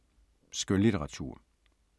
Skønlitteratur